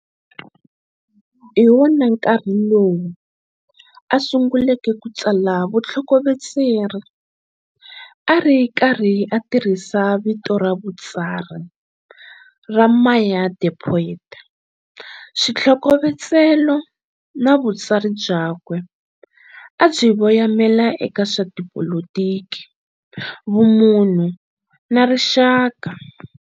Hi wona nkarhi lowu a sunguleke ku tsala vuthlokovetseri ari karhi a tirhisa vito ra vutsari ra MayaThePoet. Swithlokovetselo na vutsari byakwe a swi voyamela eka swa tipolotiki, vumunhu na rixaka.